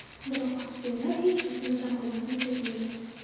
Biroq aktyorlar hech qachon raqobatni sezmagan.